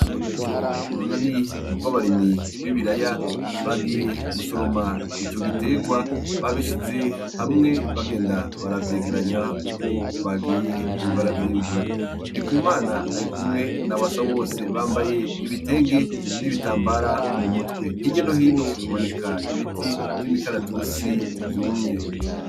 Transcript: Abagize urunani rw'abarimyi b' ibiraya bagiye gusoroma ico giterwa babishize hamwe bagenda baravyegeranya uko bagiye baravyimbura ndikumana ari kumwe na basabose bambaye ibitenge n'ibitambara mu mutwe hirya no hino haboneka ibiti vy'imikaratusi vyumye